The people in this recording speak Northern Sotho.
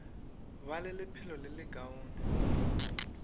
ba le lephelo le lekaone